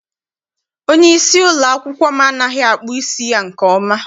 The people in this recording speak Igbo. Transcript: Onyeisi ụlọakwụkwọ m anaghị akpụ isi ya nke ọma.